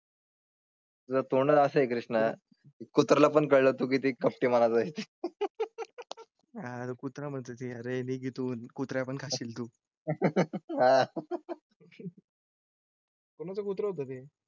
जर तोंड असे कृष्णा कुत्राला पण कळेल तो किती कपटी मला जाईल आह. कुत्रा म्हणजे रेडी घेऊन कुत्र्यापण खाशील तू. कोणाचं कुत्र होतं ते